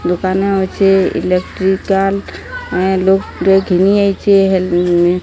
ଦୋକାନ ଅଛେ। ଇଲେକ୍ଟ୍ରିକାଲ ଲୋକ୍ ଟେ ଘିନିଆଇଚେ ହେ --